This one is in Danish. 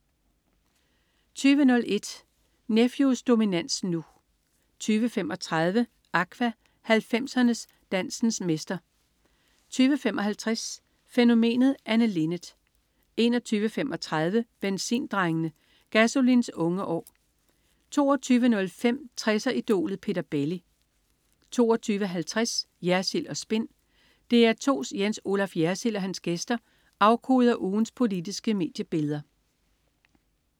20.01 Nephews dominans nu 20.35 Aqua. 90'er-dancens mestre 20.55 Fænomenet Anne Linnet 21.35 Benzindrengene. Gasolin's unge år 22.05 60'er-idolet Peter Belli 22.50 Jersild & Spin. DR2's Jens Olaf Jersild og hans gæster afkoder ugens politiske mediebilleder